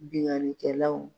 Binkanikɛlaw